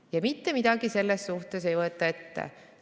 Ja mitte midagi ei võeta ette.